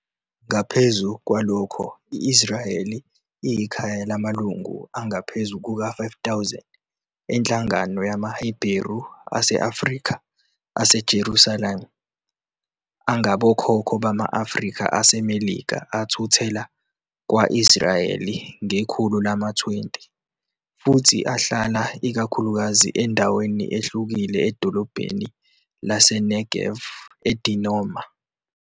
Ngaphezu kwalokho, i-Israel iyikhaya lamalungu angaphezu kuka-5,000 enhlangano yamaHebheru ase-Afrika ase-Jerusalem angabokhokho bama-Afrika aseMelika athuthela kwa-Israyeli ngekhulu lama-20, futhi ahlala ikakhulukazi endaweni ehlukile edolobheni laseNegev eDimona.